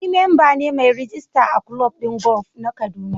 Ni memba ne mai rijista a kulob din golf na kaduna